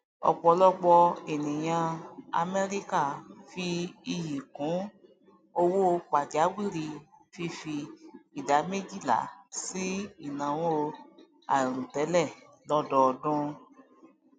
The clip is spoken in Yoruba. ọpọlọpọ ènìyàn amerika fí iyì kún owó pàjáwìrì fífi idà méjìlá sí ìnáwó àiròtẹlẹ lọdọọdún